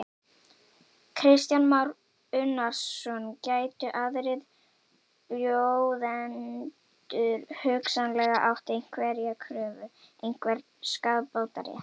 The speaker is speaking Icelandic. Kristján Már Unnarsson: Gætu aðrir bjóðendur hugsanlega átt einhverja kröfu, einhvern skaðabótarétt?